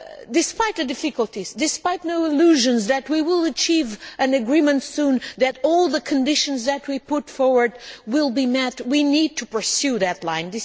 Despite the difficulties, and despite having no illusions that we will achieve an agreement soon or that all the conditions that we put forward will be met, we need to pursue that line.